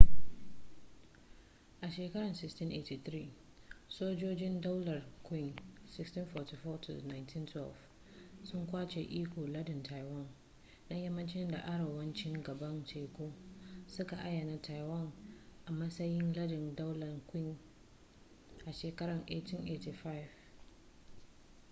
a shekarar 1683 sojojin daular qing 1644-1912 sun kwace ikon lardin taiwan na yammacin da arewacin gabar teku suka ayyana taiwan a matsayin lardin daular qing a shekarar 1885